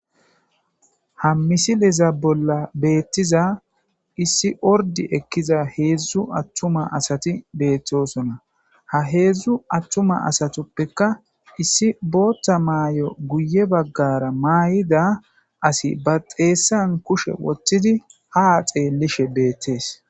ha misiliza bolla beettiza issi ordi ekkiza heedzdzu attuma asati beettosona ha heedzdzu attuma asatuppeka issi bootta maay7o guye baggara maay7ida asi ba xeessan kushe woththidi ha xeellishe beettees